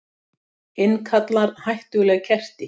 Innkallar hættuleg kerti